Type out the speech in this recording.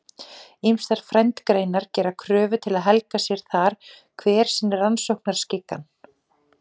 Ýmsar frændgreinar gera kröfu til að helga sér þar hver sinn rannsóknarskikann.